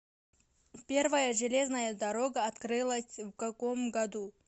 первая железная дорога открылась в каком году